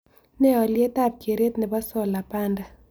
Ne alyetap kereet ne po solar panda